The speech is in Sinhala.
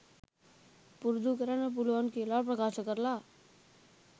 පුරුදු කරන්න පුළුවන් කියලා ප්‍රකාශ කරලා